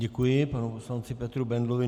Děkuji panu poslanci Petru Bendlovi.